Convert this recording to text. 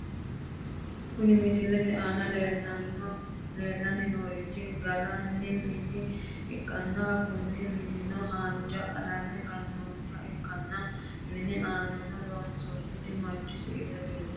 Kuni misilete aana leellanni noorichi gallanni mine ikkanna kuni minino haanja qalame gannoonniha ikkanna ,mini aanano loonsoonniti manchu siile leeltanno.